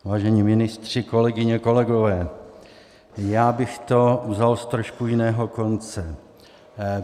Vážení ministři, kolegyně, kolegové, já bych to vzal z trošku jiného konce.